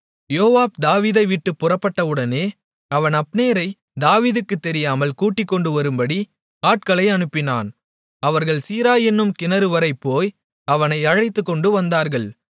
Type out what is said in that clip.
யோவாப் தாவீதைவிட்டுப் புறப்பட்டவுடனே அவன் அப்னேரைத் தாவீதுக்குத் தெரியாமல் கூட்டிக்கொண்டு வரும்படி ஆட்களை அனுப்பினான் அவர்கள் சீரா என்னும் கிணறுவரை போய் அவனை அழைத்துக்கொண்டுவந்தார்கள்